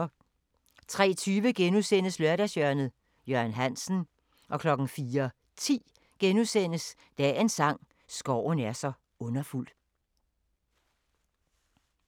03:20: Lørdagshjørnet – Jørgen Hansen * 04:10: Dagens sang: Skoven er så underfuld *